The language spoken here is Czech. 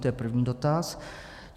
To je první dotaz.